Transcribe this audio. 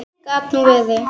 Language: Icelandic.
Gat nú verið